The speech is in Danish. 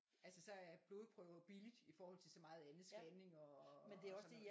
Altså så er blodprøver billigt i forhold til så meget andet scanning og og og sådan noget